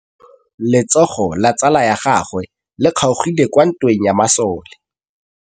Letsôgô la tsala ya gagwe le kgaogile kwa ntweng ya masole.